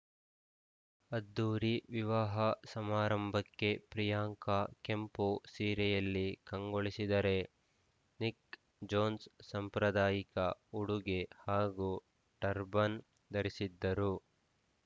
ಅದ್ದೂರಿ ವಿವಾಹ ಸಮಾರಂಭಕ್ಕೆ ಪ್ರಿಯಾಂಕಾ ಕೆಂಪು ಸೀರೆಯಲ್ಲಿ ಕಂಗೊಳಿಸಿದರೆ ನಿಕ್‌ ಜೋನ್ಸ್‌ ಸಾಂಪ್ರದಾಯಿಕ ಉಡುಗೆ ಹಾಗೂ ಟರ್ಬನ್‌ ಧರಿಸಿದ್ದರು